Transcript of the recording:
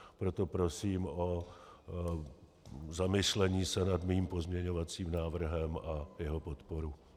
Proto prosím o zamyšlení se nad mým pozměňovacím návrhem a jeho podporu.